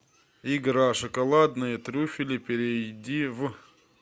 игра шоколадные трюфели перейди в